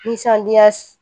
Nisɔndiya